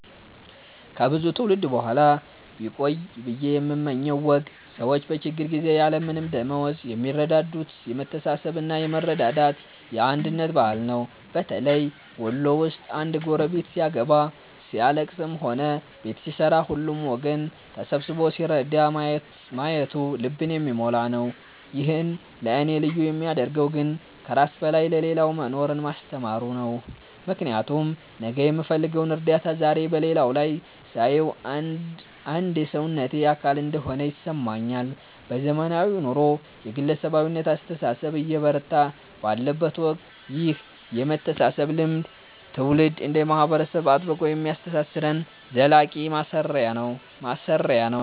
ከብዙ ትውልድ በኋላ ቢቆይ ብየ የምመኘው ወግ ሰዎች በችግር ጊዜ ያለምንም ደመወዝ የሚረዳዱበት የመተሳሰብና የመረዳዳት፣ የአንድነት ባህል ነው። በተለይ ወሎ ውስጥ አንድ ጎረቤት ሲያገባ፣ ሲያልለቅስም ሆነ ቤት ሲሠራ ሁሉም ወገን ተሰብስቦ ሲረዳ ማየቱ ልብን የሚሞላ ነው። ይህን ለእኔ ልዩ የሚያደርገው ግን ከራስ በላይ ለሌላው መኖርን ማስተማሩ ነው፤ ምክንያቱም ነገ የምፈልገውን እርዳታ ዛሬ በሌላው ላይ ሳየው አንድ የሰውነቴ አካል እንደሆነ ይሰማኛል። በዘመናዊው ኑሮ የግለሰባዊነት አስተሳሰብ እየበረታ ባለበት ወቅት ይህ የመተሳሰብ ልምድ ትውልድ እንደ ማህበረሰብ አጥብቆ የሚያስተሳስረን ዘላቂ ማሰሪያ ነው።